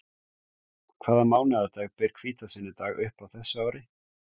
Hvaða mánaðardag ber hvítasunnudag upp á þessu ári?